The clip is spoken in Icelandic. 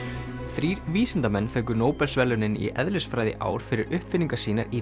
þrír vísindamenn fengu Nóbelsverðlaunin í eðlisfræði í ár fyrir uppfinningar sínar í